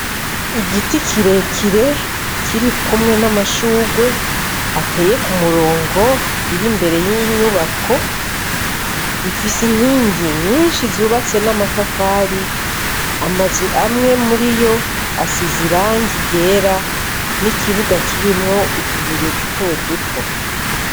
Igiti kirekire kirikumwe n'amashurwe ateye k'umurongo, biri imbere y'inyubako bifise inkingi nyinshi zubatse n'amatafari, amazu amwe muri yo asize irangi ryera n'ikibuga kirimwo utubuye duto duto.